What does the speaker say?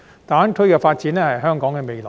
大灣區發展是香港的未來。